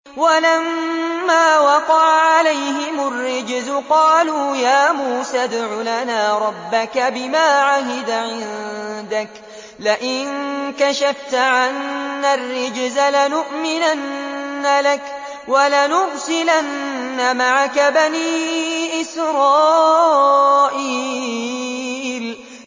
وَلَمَّا وَقَعَ عَلَيْهِمُ الرِّجْزُ قَالُوا يَا مُوسَى ادْعُ لَنَا رَبَّكَ بِمَا عَهِدَ عِندَكَ ۖ لَئِن كَشَفْتَ عَنَّا الرِّجْزَ لَنُؤْمِنَنَّ لَكَ وَلَنُرْسِلَنَّ مَعَكَ بَنِي إِسْرَائِيلَ